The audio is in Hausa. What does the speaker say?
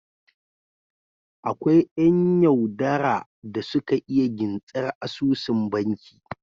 Akwai yan yau dara da suka iya gintsar asusun banki